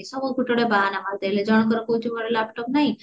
ଗୋଟେ ଗୋଟେ ବାହାନା ମାରିଦେଲେ ଜଣଙ୍କର କହୁଛି ମୋର laptop ନାହି